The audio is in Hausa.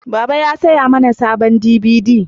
Baba ya saya mana sabon dibidi